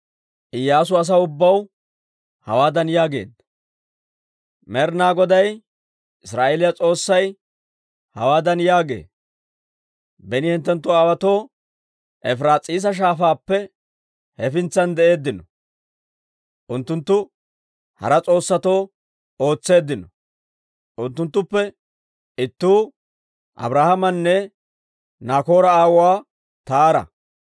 Iyyaasu asaw ubbaw hawaadan yaageedda; «Med'ina Goday Israa'eeliyaa S'oossay hawaadan yaagee; ‹Beni hinttenttu aawotuu Efiraas'iisa Shaafaappe hefintsan de'eeddino; unttunttu hara s'oossatoo ootseeddino. Unttunttuppe ittuu Abrahaamanne Naakoora aawuwaa Taara.